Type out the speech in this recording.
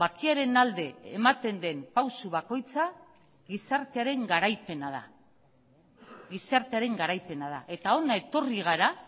bakearen alde ematen den pausu bakoitza gizartearen garaipena da eta hona etorri gara